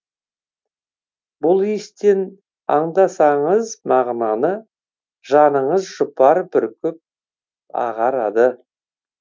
бұл иістен аңдасаңыз мағынаны жаныңыз жұпар бүркіп ағарады